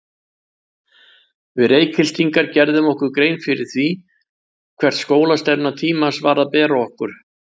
Við Reykhyltingar gerðum okkur ekki grein fyrir því, hvert skólastefna tímans var að bera okkur.